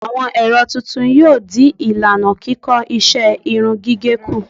Àwọn ẹ̀rọ tuntun yóò dín ìlànà kíkọ́ iṣẹ́ irun gígẹ̀ kù.